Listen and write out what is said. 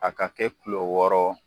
A ka kɛ kulo wɔɔrɔ